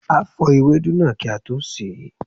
A fò ewedu náà kí a tó sè é.